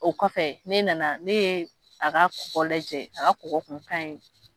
O kɔfɛ ne nana ne ye a ka kɔgɔ lajɛ a ka kɔgɔ kun kan in.